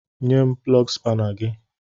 Nye m plọgu spana gị!